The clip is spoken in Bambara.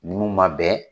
Ninnu ma bɛn